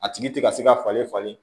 A tigi ti ka se ka falen falen